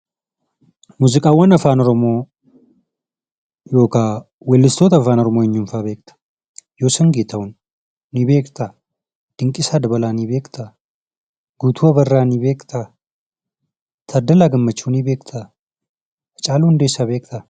Muuziqaawwan Afaan Oromoo yookaan weellistoota Afaan Oromoo eenyuun fa'a beekta? Yoosan Geetaahuun ni beektaa? Dinqiisaa Dabalaa ni beektaa? Guutuu Abarraa ni beektaa? Taaddalaa Gammachuu ni beektaa? Haacaaluu Hundeessaa ni beektaa?